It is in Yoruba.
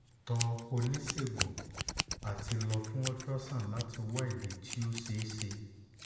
gọ onisegun ati lọ fun ultrasound lati wa idi ti o ṣeeṣe